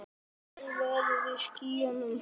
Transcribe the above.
Sól veður í skýjum.